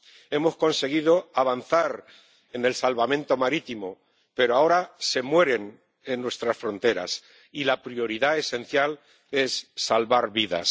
Hemos conseguido avanzar en salvamento marítimo, pero ahora se mueren en nuestras fronteras, y la prioridad esencial es salvar vidas.